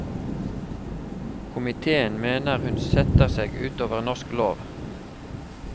Komitéen mener hun setter seg ut over norsk lov.